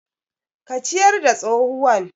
Ki ciyar da tsohuwan